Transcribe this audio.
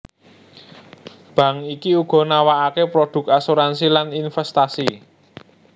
Bank iki uga nawakake produk asuransi lan investasi